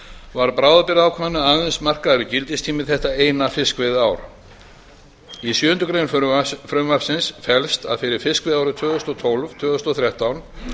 var bráðabirgðaákvæðinu aðeins markaður gildistími þetta eina fiskveiðiár í sjöundu greinar frumvarpsins felst að fyrir fiskveiðiári tvö þúsund og tólf til tvö þúsund og þrettán